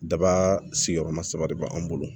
Daba sigiyɔrɔma saba de bɛ an bolo